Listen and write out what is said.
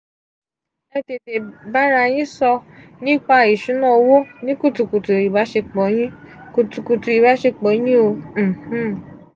e tete bara yin so nipa isuna owo ni kutukutu ibaṣepọ̀ yin kutukutu ibasepọ̀ yin o um